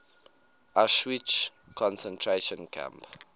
auschwitz concentration camp